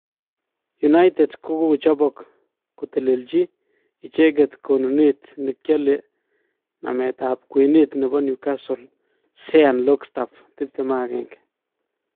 United kokochobop kokotelelchi icheget konunet nekiole namet tab kwenet nebo Newscastle Sean logstaaf 21.